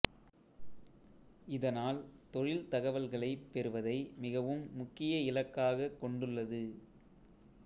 இதனால் தொழில் தகவல்களைப் பெறுவதை மிகவும் முக்கிய இலக்காகக் கொண்டுள்ளது